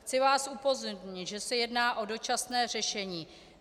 Chci vás upozornit, že se jedná o dočasné řešení.